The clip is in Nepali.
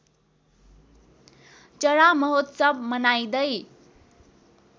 चरा महोत्सव मनाइँदै